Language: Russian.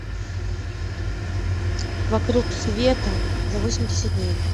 вокруг света за восемьдесят дней